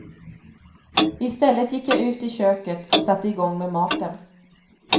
I stället gick jag ut i köket och satte i gång med maten.